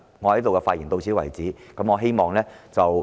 我的發言到此為止。